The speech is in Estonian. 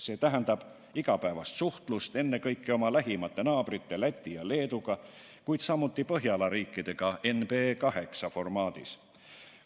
See tähendab igapäevast suhtlust ennekõike oma lähimate naabrite Läti ja Leeduga, kuid samuti Põhjala riikidega NB8 formaadis.